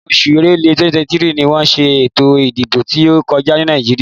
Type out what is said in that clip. Inú oṣù Èrèlé, 2023 ni wọ́n ṣe ètò ìdìbò tí ó kọjá ní Nàìjíríà.